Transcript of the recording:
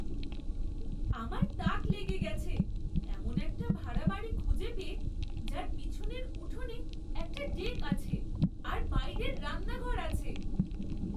আমার তাক লেগে গেছে এমন একটা ভাড়া বাড়ি খুঁজে পেয়ে যার পিছনের উঠোনে একটা ডেক আছে আর বাইরের রান্নাঘর আছে!